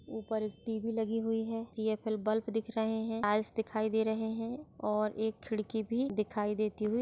ऊपर एक टी.वी. लगी हुई है टी.एफ.एल. बल्ब दिख रही है आयेस दिखाई दे रहे है और एक किडकी भी दिखाई देती हुई--